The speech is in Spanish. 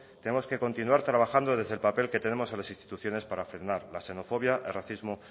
tenemos que continuar trabajando desde el papel que tenemos en las instituciones para frenar la xenofobia el racismo